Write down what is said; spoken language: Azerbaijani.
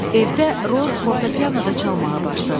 Evdə Roz fortopianoda çalmağa başladı.